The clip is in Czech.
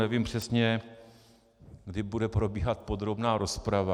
Nevím přesně, kdy bude probíhat podrobná rozprava.